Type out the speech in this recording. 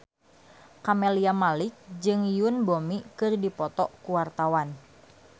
Camelia Malik jeung Yoon Bomi keur dipoto ku wartawan